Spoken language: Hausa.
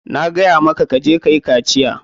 Na gaya maka ka je kayi kaciya.